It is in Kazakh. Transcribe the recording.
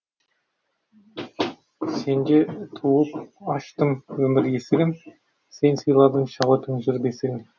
сенде туып аштым өмір есігін сен сыйладың шабыттың жыр бесігін